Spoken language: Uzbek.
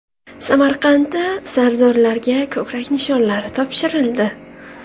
Samarqandda sardorlarga ko‘krak nishonlari topshirildi.